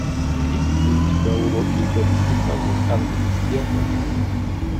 есть ли у тебя уроки тетушки совы английский алфавит